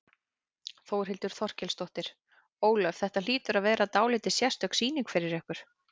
Þórhildur Þorkelsdóttir: Ólöf, þetta hlýtur að vera dálítið sérstök sýning fyrir ykkur?